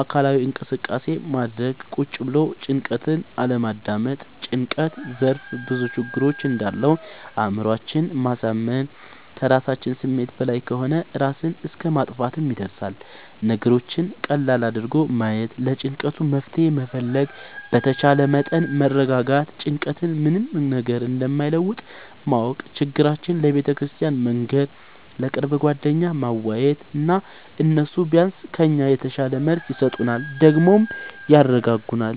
አካላዊ እንቅስቃሴ ማድረግ ቁጭ ብሎ ጭንቀትን አለማዳመጥ። ጭንቀት ዘርፍ ብዙ ችግር እንዳለው አእምሮአችን ማሳመን ከራሳችን ስሜት በላይ ከሆነ እራስን እስከ ማጥፍትም ይደርሳል። ነገሮችን ቀለል አድርጎ ማየት ለጭንቀቱ መፍትሄ መፈለግ በተቻለ መጠን መረጋጋት ጭንቀት ምንም ነገር እንደማይለውጥ ማወቅ ችግራችን ለቤተክርስቲያን መንገር፣ ለቅርብ ጓደኛ ማዋየት እና እነሱ ቢያንስ ከኛ የተሻለ መልስ ይሰጡናል ደግሞም ያረጋጉናል።